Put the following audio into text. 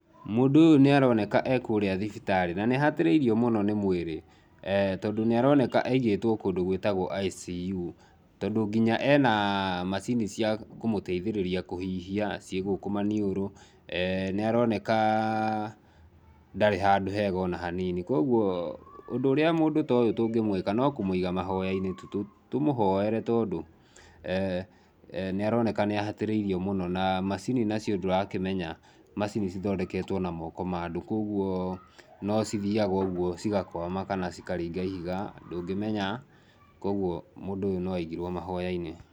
Mũndũ ũyũ nĩ aroneka e kũrĩa thibitarĩ, na nĩ ahatĩrĩrio mũno nĩ mwĩrĩ tondũ nĩ aroneka aigĩtwo kũndũ gwĩtagwo ICU, tondũ nginya e na macini cia kũmũteithĩrĩria kũhihia, ciĩ gũkũ maniũrũ, nĩ aroneka, ndarĩ handũ hega o na hanini, kũoguo, ũndũ ũrĩa mũndũ to ũyũ tũngĩmwĩka no kũmwiga mahoya-inĩ tu. Tũmũhoere tondũ nĩ aroneka nĩ ahatĩrĩirio mũno na macini nacio ndũrakĩmenya macini cithondeketwo na moko ma andũ kũoguo, no cithiaga ũguo cigakuama kana cikaringa ihiga ,ndũngĩmenya, kũoguo mũndũ ũyũ no aigirwo mahoya-inĩ.